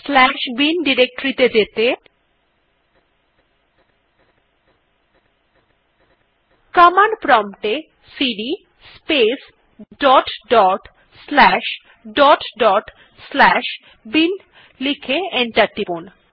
slash bin directory ত়ে যেতে command prompt এ CD space dot dot slash dot dot slash bin লিখে enter টিপুন